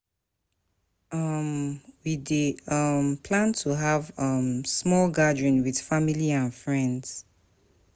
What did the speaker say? um We dey um plan to have um small gathering with family and friends.